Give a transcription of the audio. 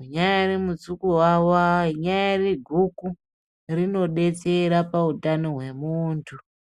unyari mutsukuwawa, rinyari guku rinodetsera pautano hwemundu